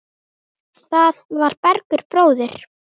Það var Bergur bróðir.